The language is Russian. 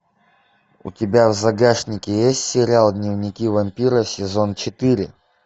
у тебя в загашнике есть сериал дневники вампира сезон четыре